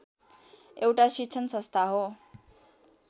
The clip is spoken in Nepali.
एउटा शिक्षण संस्था हो